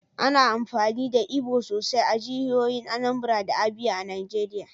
Ana amfani da Igbo sosai a jihohin Anambra da Abia a Najeriya.